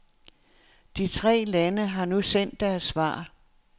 De tre lande har nu sendt deres svar.